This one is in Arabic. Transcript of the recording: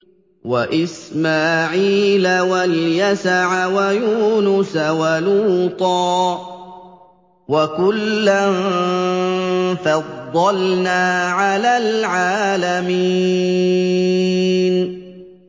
وَإِسْمَاعِيلَ وَالْيَسَعَ وَيُونُسَ وَلُوطًا ۚ وَكُلًّا فَضَّلْنَا عَلَى الْعَالَمِينَ